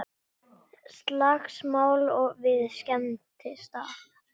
Slagsmál við skemmtistað